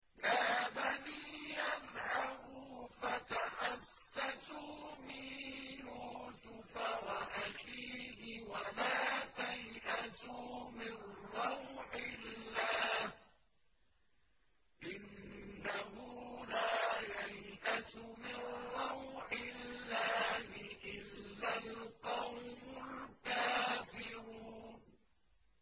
يَا بَنِيَّ اذْهَبُوا فَتَحَسَّسُوا مِن يُوسُفَ وَأَخِيهِ وَلَا تَيْأَسُوا مِن رَّوْحِ اللَّهِ ۖ إِنَّهُ لَا يَيْأَسُ مِن رَّوْحِ اللَّهِ إِلَّا الْقَوْمُ الْكَافِرُونَ